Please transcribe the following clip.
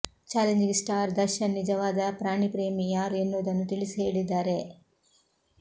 challenging star Darshan ನಿಜವಾದ ಪ್ರಾಣಿ ಪ್ರೇಮಿ ಯಾರು ಎನ್ನುವುದನ್ನು ತಿಳಿಸಿ ಹೇಳಿದ್ದಾರೆ